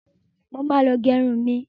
Mo ma lọ gẹrun mi.